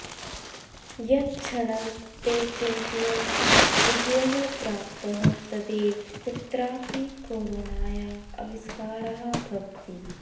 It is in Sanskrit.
यत्क्षणं ते चिन्तयन्ति विजयः प्राप्तः तदैव कुत्रापि कोरोनाया आविष्कारः भवति